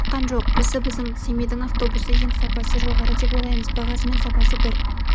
шыққан жоқ осы біздің семейдің автобусы ең сапасы жоғары деп ойлаймыз бағасы мен сапасы бір